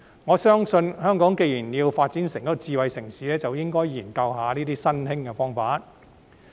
我相信，香港既然要發展成智慧城市，便應該就這些新興方法進行研究。